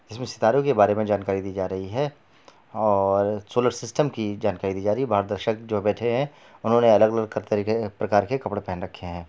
इसमें सितारों के बारे मे जानकारी दी जा रही है और सोलर सिस्टम की जानकारी दी जा रही हैं| बाहर दर्शक जो बैठे हैं उन्होंने अलग-अलग तरीके के प्रकार के कपड़े पहन रखे हैं।